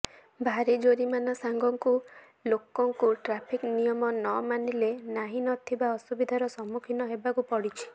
ଭାରି ଜୋରିମାନା ସାଙ୍ଗକୁ ଲୋକଙ୍କୁ ଟ୍ରାଫିକ୍ ନିୟମ ନ ମାନିଲେ ନାହି ନଥିବା ଅସୁବିଧାର ସମ୍ମୁଖୀନ ହେବାକୁ ପଡୁଛି